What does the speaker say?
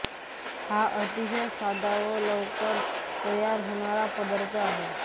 हा अतिशय साधा व लवकर तयार होणारा पदार्थ आहे